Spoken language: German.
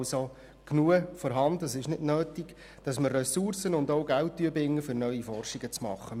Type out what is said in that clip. Es ist also genug vorhanden, und es ist nicht nötig, dass wir Ressourcen und Geld binden, um neue Forschung zu betreiben.